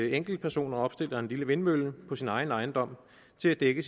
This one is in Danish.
enkeltpersoner opstiller en lille vindmølle på deres egen ejendom til at dække